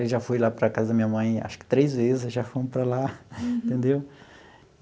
Ele já foi lá para a casa da minha mãe, acho que três vezes, já fomos para lá, entendeu?